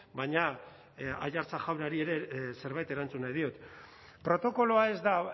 baina aiartza jaunari ere zerbait erantzun nahi diot protokoloa ez da